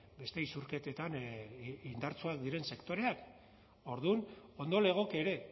beste isurketetan indartsuak diren sektoreak orduan ondo legoke ere